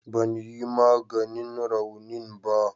Ban yi maganin raunin ba